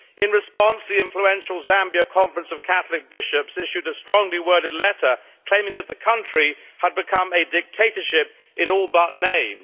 In response, the influential Zambia Conference of Catholic Bishops issued a strongly worded letter claiming that the country had become a dictatorship in all but name.